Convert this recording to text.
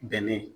Bɛnɛ